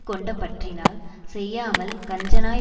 கொண்ட பற்றினால் செய்யாமல் கஞ்சனாய்